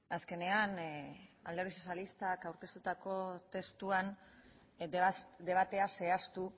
azkenean alderdi sozialistak aurkeztutako testuan debatea zehaztu